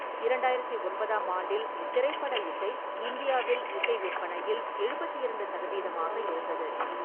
இரண்டாயிரத்தி ஒன்பதாம் ஆண்டில், திரைப்பட இசை, இந்தியாவில் இசை விற்பனையில் எழுபத்தி இரண்டு சதவீதமாக இருந்தது.